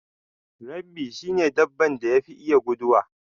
Rabbi shi ne dabban da yafi iya guduwa.